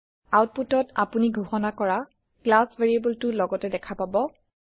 আওতপুটত আপোনি ঘোষণা কৰা ক্লাচ ভেৰিয়েবলটো লগতে দেখা পাব